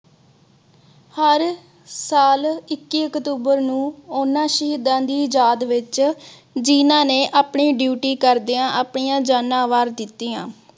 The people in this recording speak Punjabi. ਹਰ ਸਾਲ ਇੱਕੀ ਅਕਤੂਬਰ ਨੂੰ ਓਹਨਾ ਸ਼ਹੀਦਾਂ ਦੀ ਯਾਦ ਵਿਚ ਜਿਹਨਾਂ ਨੇ ਆਪਣੀ duty ਕਰਦਿਆਂ ਆਪਣੀਆਂ ਜਾਨਾ ਵਾਰ ਦਿਤੀਆਂ।